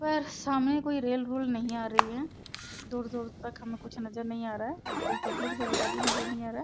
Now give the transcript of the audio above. पर सामने कोई रेल वेल नहीं आ रही है । दूर दूर तक हमें कुछ नज़र नहीं आ रहा है। कोई पब्लिक वगैरह भी नज़र नहीं आ रहा है।